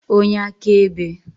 onye akaebe